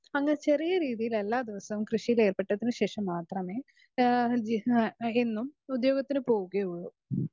speaker 2 അങ്ങനെ ചെറിയ രീതിയിൽ എല്ലാ ദിവസവും കൃഷിയിൽ ഏർപ്പെട്ടതിന് ശേഷം മാത്രമേ എന്നും ഉത്യോകത്തിന് പോകുകയൊള്ളു